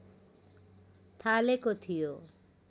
थालेको थियो